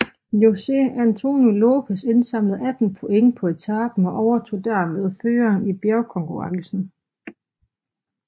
José Antonio López indsamlede 18 point på etapen og overtog dermed føringen i bjergkonkurrencen